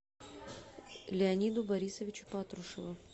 леониду борисовичу патрушеву